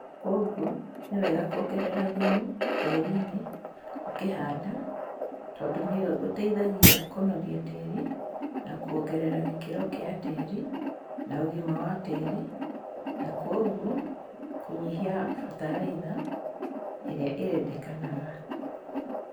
Kũogwo nĩwega kuongerera thumu tĩrini ũkĩhanda tandũ nĩ ũteithagia kũnoria tĩri na kũongerera gĩkĩro gia tĩri na ũgima wa tĩri na kũogwo kũnyihia bataraitha irĩa ĩrendekanaga.